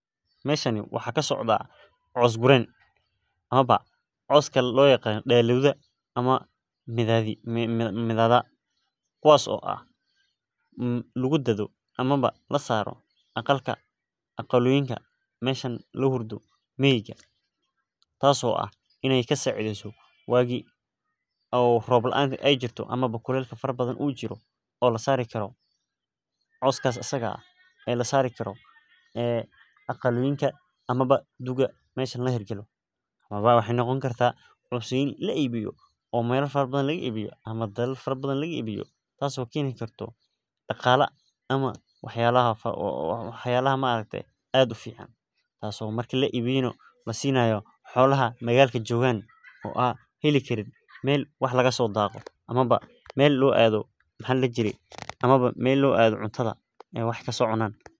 Meshami waxa kasocda cos gureyen, amaba coska loyaqano deylidha amaba midida kuwas oo lagu dadho amaba lasaro aqalka, aqaloyinka meshi lahurdo miga tas oo ah ianay kasicideyso wagi rob laanka ay jirto ama kulelka fara badhan ujiro oo lasari karo. Coskas asaga ah oo lasari karo aqaloyinka ama duka meshan lahergalo amaba waxay noqoni karta, cos ini laibiyo mela fara badhan laga ibiyo ama dalal badhan laga ibiyo tas oo keni karta daqala, ama waxyabaha cad ufican tas oo marki laibiyo, nah lasinay xolaha magalka jogan oo an heli karin mel wax lagaso taqo amaba mel loo ado cuntada aay wax kasocunan.